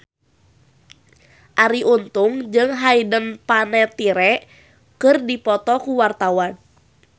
Arie Untung jeung Hayden Panettiere keur dipoto ku wartawan